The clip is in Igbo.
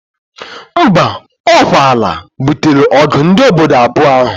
Mba, okwa ana butere ogu ndi obodo ibuo ahu.